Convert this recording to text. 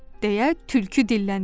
deyə tülkü dilləndi.